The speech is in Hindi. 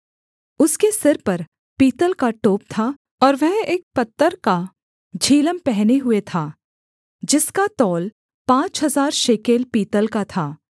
उसके सिर पर पीतल का टोप था और वह एक पत्तर का झिलम पहने हुए था जिसका तौल पाँच हजार शेकेल पीतल का था